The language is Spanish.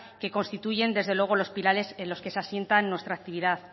que constituyen desde luego los pilares en los que se asienta nuestra actividad